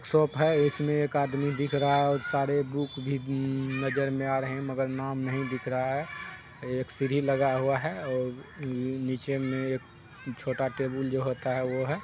Shop है। इसमे ओर एक आदमी दिख रहा है। सारे बुक भी नजर मे आ रहै है। मगर नाम नहीं दिख रहा है। एक सीढ़ी लगाया हुआ है ओर अम नीचे मे छोटा टेबल जो होता है वो है।